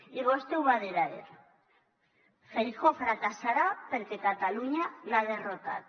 i vostè ho va dir ahir feijóo fracassarà perquè catalunya l’ha derrotat